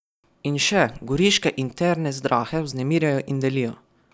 In še, goriške interne zdrahe vznemirjajo in delijo.